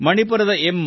ಮಣಿಪುರದ ಎಂ